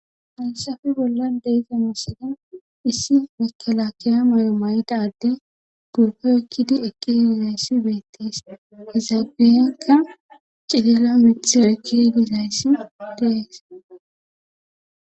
Falsafe bolla deize misida issi nekalakiya mayo may'dade gubgo ekkidi ekki yigizayssi beettees izaabiyekka cilila mithiro ekki higizayssi dees.